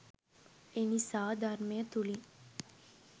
එනිසා ධර්මය තුලින්